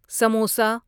samosa